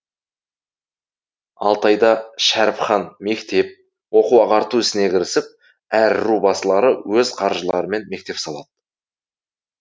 алтайда шәріпхан мектеп оқу ағарту ісіне кірісіп әр ру басылары өз қаржыларымен мектеп салады